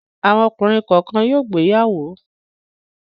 Àwọn ọkùnrin kọ̀ọ̀kan yóò gbéyàwó.